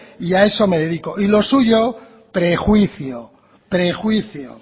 y a eso me dedico y lo suyo prejuicio prejuicio